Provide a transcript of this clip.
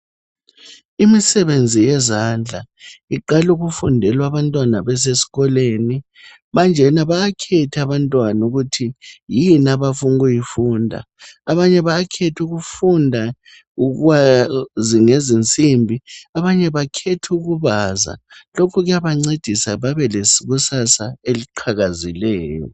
Imisebenzi yezandla iqala ukufundilwa abantwana besesikolweni. Manjena bayakhetha abantwana ukuthi yini abafuna ukuyifunda. Abanye bayakhetha ukufunda ukwazi ngezensimbi abanye bakhetha ukubaza. Lokhu kuyabancedisa babelekusasa eqhakazileyo.